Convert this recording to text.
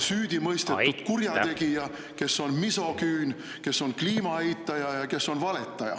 … süüdimõistetud kurjategija, kes on misogüün, kes on kliima eitaja ja kes on valetaja.